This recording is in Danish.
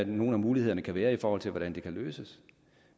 nogle muligheder der kan være i forhold til hvordan de kan løses